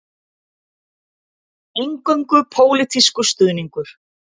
Eingöngu pólitískur stuðningur